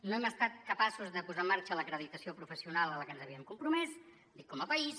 no hem estat capaços de posar en marxa l’acreditació professional a la que ens havíem compromès com a país